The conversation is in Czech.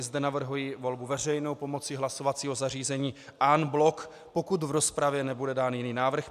I zde navrhuji volbu veřejnou pomocí hlasovacího zařízení en bloc, pokud v rozpravě nebude dán jiný návrh.